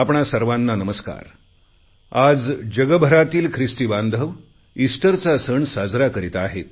आपणा सर्वांना नमस्कार आज जगभरातील ख्रिस्ती बांधव ईस्टरचा सण साजरा करीत आहेत